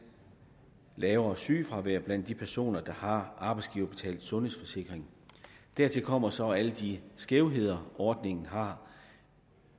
lavere sygefravær blandt de personer der har arbejdsgiverbetalte sundhedsforsikringer dertil kommer så alle de skævheder ordningen har